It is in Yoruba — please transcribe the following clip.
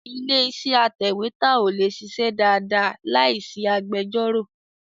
Ilé-iṣẹ́ atẹ̀wétà ò lè ṣiṣẹ́ dáadáa láì sí agbẹjọ́rò.